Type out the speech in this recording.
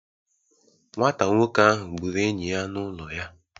Nwata nwoke ahụ gburu enyi ya n'ụlọ ya